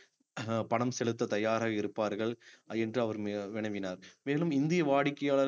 அஹ் பணம் செலுத்த தயாராக இருப்பார்கள் என்று அவர் வினவினார் மேலும் இந்திய வாடிக்கையாள~